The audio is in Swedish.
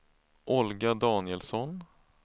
Olga Danielsson